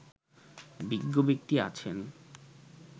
বিজ্ঞ ব্যক্তি আছেন